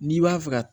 N'i b'a fɛ ka